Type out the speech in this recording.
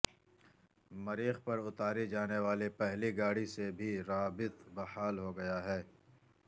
مریخ پر اتاری جانے والی پہلی گاڑی سے بھی رابط بحال ہو گیا ہے